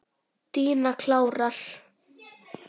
Díana klára.